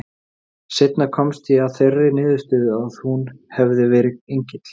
Seinna komst ég að þeirri niðurstöðu að hún hefði verið engill.